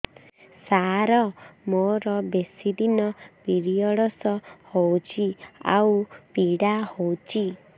ସାର ମୋର ବେଶୀ ଦିନ ପିରୀଅଡ଼ସ ହଉଚି ଆଉ ପୀଡା ହଉଚି